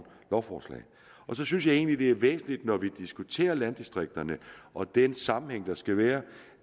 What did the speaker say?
lovforslag så synes jeg egentlig at det er væsentligt når vi diskuterer landdistrikterne og den sammenhæng der skal være